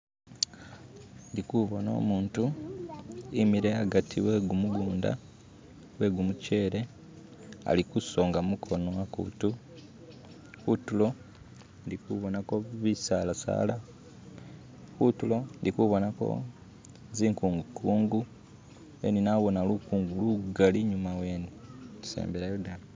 ndikubona umuntu wimile agati wegumugunda gwe gumuchele alikusonga mukono akuntu kuntulo indikubonako bisalasala kuntulo indikubonako zikungukungu then nabana lukungu lugali inyuma wene isembelayo ddala.